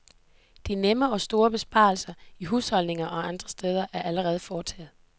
De nemme og store besparelser i husholdninger og andre steder er allerede foretaget.